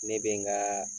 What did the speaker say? Ne bɛ n ka